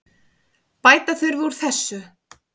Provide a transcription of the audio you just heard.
Bæta þurfi úr þessu.